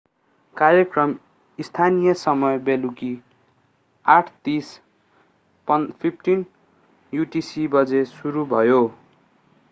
कार्यक्रम स्थानीय समय बेलुकी 8:30 15.00 utc बजे सुरु भयो।